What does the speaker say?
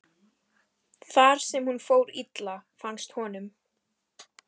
þar sem hún fór illa, fannst honum.